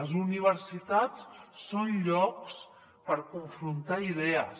les universitats són llocs per confrontar idees